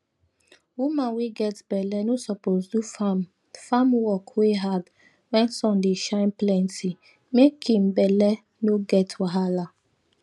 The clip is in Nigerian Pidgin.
woman wey get belle no suppose do farm farm work wey hard wen sun dey shine plenty make im belle no get wahala